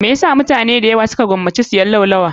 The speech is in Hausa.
Me yasa mutane dayawa su ka gomaci siyan laulawa?